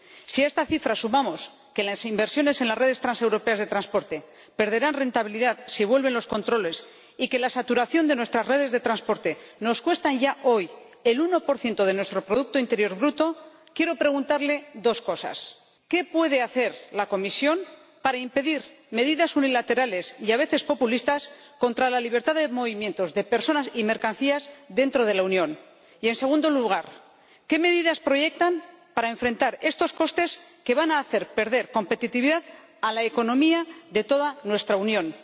Si a esta cifra sumamos que las inversiones en las redes transeuropeas de transporte perderán rentabilidad, si vuelven los controles, y que la saturación de nuestras redes de transporte nos cuesta ya hoy el 1 de nuestro producto interior bruto, quiero preguntarle dos cosas qué puede hacer la Comisión para impedir medidas unilaterales, y a veces populistas, contra la libertad de movimientos de personas y mercancías dentro de la Unión, y, en segundo lugar, qué medidas proyectan para enfrentar estos costes que van a hacer perder competitividad a la economía de toda nuestra Unión.